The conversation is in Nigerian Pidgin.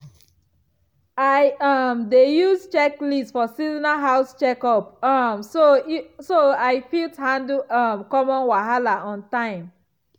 i um dey use checklist for seasonal house checkup um so i fit handle um common wahala on time.